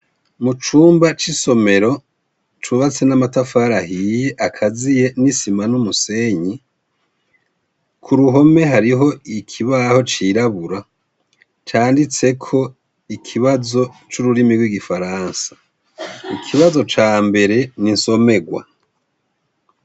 Mu cumba c' isomero, cubatse n'amatafari ahiye akaziye n' isima n' umusenyi , Ku ruhome hariho ikibaho cirabura canditseko ikibazo c' ururimi rw'igifaransa . Ikibazo cambere ni insomerwa.